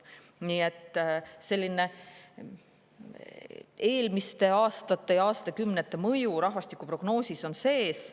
Nii et eelmiste aastate ja aastakümnete mõju on rahvastikuprognoosis sees.